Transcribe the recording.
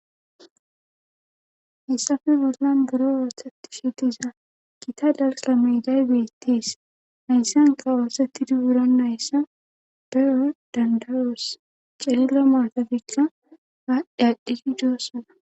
heysape bollan buro oosettishe diza gita dalgga meeday beettees hayssanka oosettidi wuronayssa be7o danda7oos cililo maatatikka aadhdhi aadhi dossana